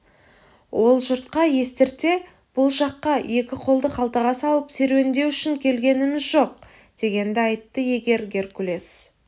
ол жұртқа естірте бұл жаққа екі қолды қалтаға салып серуендеу үшін келгеніміз жоқ дегенді айтты егер геркулес